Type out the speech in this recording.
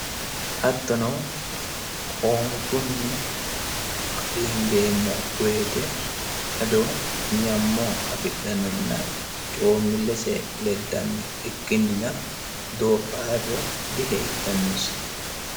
Hattono hoonichunni qadinidemo woyite ado nyamo afhidhanona coomilese ledanno ikinina doofarre dihedhanose